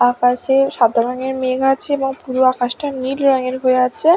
আকাশে সাদা রঙের মেঘ আছে এবং পুরো আকাশটা নীল রঙের হয়ে আছে।